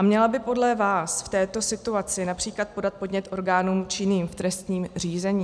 A měla by podle vás v této situaci například podat podnět orgánům činným v trestním řízení?